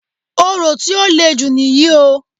Orò tí o lè jù níyì o.